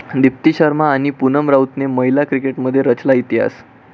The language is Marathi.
दीप्ती शर्मा आणि पुनम राऊतने महिला क्रिकेटमध्ये रचला इतिहास